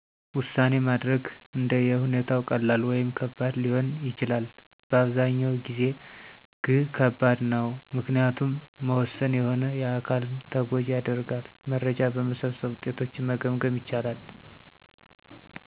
ዉሳኔ ማድረግ አንደ የሁኔታው ቀላል ወይም ከባድ ሊሆን ይችላል፤ በአብዛኛው ጊዜ ግ ከባድ ነው፤ ምክንያቱም መወሠን የሆነ አካልን ተጎጂ ያደርጋል። መረጃዎች በመሠብሠብ ውጤቶችን መገምገም ይቻላል።